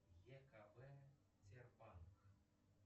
екб сбербанк